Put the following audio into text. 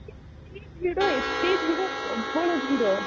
ଏତେ ଭିଡ଼ ଡଟ ଭିଡ଼ ପ୍ରବଳ ଭିଡ଼